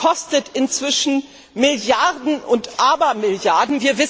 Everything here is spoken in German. Das kostet inzwischen Milliarden und Abermilliarden!